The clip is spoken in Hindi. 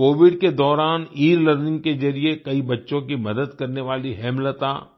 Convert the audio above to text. कोविड के दौरान एलर्निंग के जरिये कई बच्चों की मदद करने वाली हेमलता nक